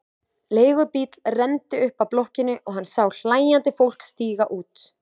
Leigubíll renndi upp að blokkinni og hann sá hlæjandi fólk stíga út.